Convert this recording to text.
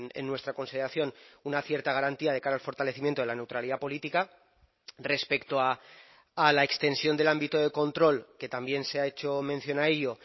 en nuestra consideración una cierta garantía de cara al fortalecimiento de la neutralidad política respecto a la extensión del ámbito de control que también se ha hecho mención a ello